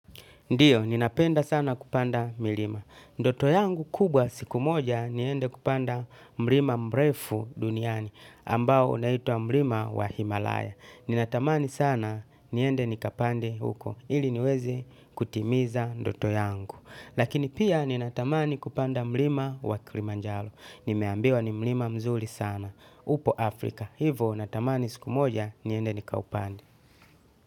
Ndiyo, ninapenda sana kupanda milima. Ndoto yangu kubwa siku moja niende kupanda mlima mrefu duniani ambao unaitwa mlima wa Himalaya. Ninatamani sana niende nikapande huko ili niweze kutimiza ndoto yangu. Lakini pia ninatamani kupanda mlima wa Kilimanjaro. Nimeambiwa ni mlima mzuri sana upo Afrika. Hivo natamani siku moja niende nikaupande.